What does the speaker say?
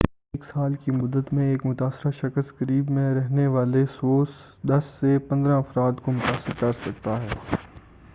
ایک سال کی مدت میں ایک متاثرہ شخص قریب میں رہنے والے 10 سے 15 افراد کو متاثر کرسکتا ہے